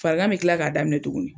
Farigan bɛ kila k'a daminɛ tugunni.